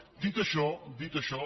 dit això dit això